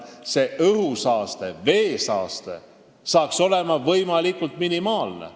Õhusaaste ja veesaaste peavad olema võimalikult minimaalsed.